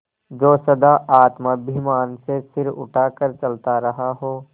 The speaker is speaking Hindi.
जो सदा आत्माभिमान से सिर उठा कर चलता रहा हो